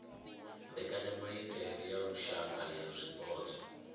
mbekanyamaitele ya lushaka ya zwipotso